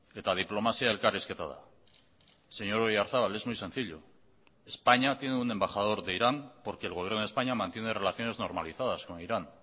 eta diplomazia elkarrizketa da señor oyarzabal es muy sencillo españa tiene un embajador de irán porque el gobierno de españa mantiene relaciones normalizadas con irán